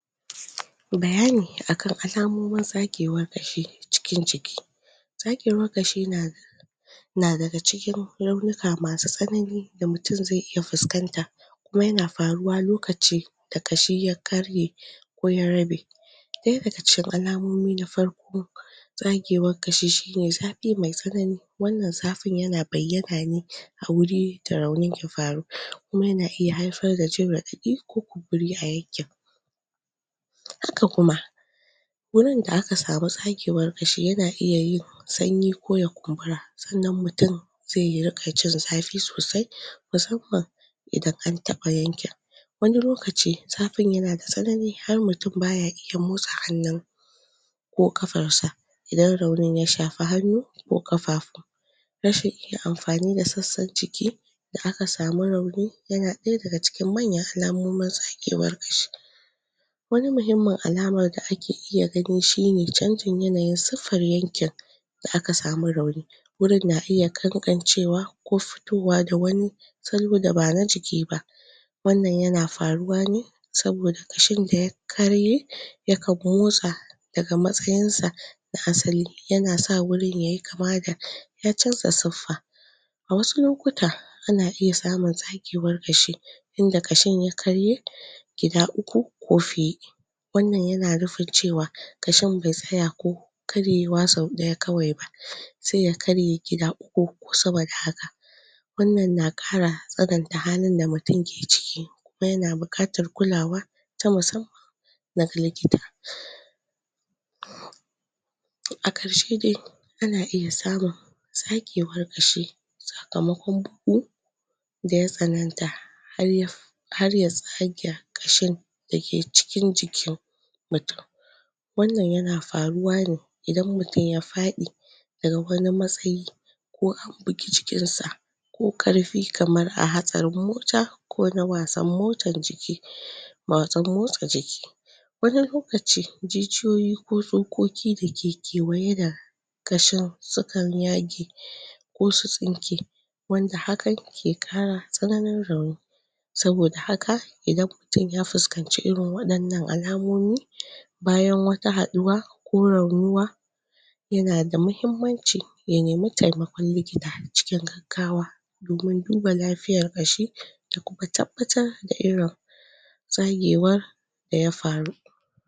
bayani akan alamomin tsagewar ƙashi cikin jiki tsagewar ƙashi na na daga cikin raunika masu tsanani da mutun zai iya fuskanta kuma yana faruwa lokaci da ƙashi ya karye ko ya rabe ɗaya daga cikin alamomi na farko tsagewar ƙashi shine zafi me tsanani wannan zafin yana bayyana ne wurin da raunin ke faruwa kuma yana iya haifar da jin raɗaɗi ko kumburi a yankin haka kuma gurin da aka samu tsagewar ƙashi yana iya yin sanyi ko ya kumbura sannan mutun zai riƙa jin zafi sosai musamman idan antaɓa yankin wani lokacin zafin yana da tsanani har mutun baya iya motsa hannun ko ƙafarsa idan raunin ya shafi hannu ko ƙafafu rashin iya amfani da sassan jikin da aka samu rauni yana ɗaya daga cikin manyan alamomin tsagewar ƙashi wani muhimmin alamar da ake iya gani shine canjin yanayin suffar yankin da aka samu rauni wurin na iya ƙanƙancewa ko fitowa da wani salo daba na jiki ba wannan yana faruwa ne saboda ƙashin da ya ƙarye yakan motsa daga matsayinsa na asali yana sa wurin yayi kama da ya canza siffa a wasu lokuta ana iya samun tsagewar ƙashi inda ƙashin ya karye inda ƙashin ya karye gida uku ko fiye wannan na nufin cewa ƙashin be tsaya ko karyewa sau ɗaya kawai ba sai ya karye gida uku ko sama da hakan wannan na ƙara tsananta halin da mutun ke ciki kuma yana buƙatar kulawa ta musamman daga likita a ƙarshe dsi ana iya samun tsagewar ƙashi sakamakon bugun daya tsananta har ya tsaga ƙashin dake cikin jikin mutun wannan yana faruwa ne idan mutun ya faɗi daga wani matsayi ko an buge jikinsa ko ƙarfi kamar a hatsarin mota ko na wasan motsa jiki wani lokaci jijiyoyi ko tsokoki dake kewaye da ƙashin sukan yage ko su tsinke wanda hakan ke ƙara tsananin rauni saboda haka idan mutun ya fuskanci irin waɗannan alamomi bayan wata haɗuwa ko raunuwa yana da muhimmanci ya ne taimakon likita cikin gaggawa domin duba lafiyar ƙashi da kuma tabbatar da irin tsagewar da ya faru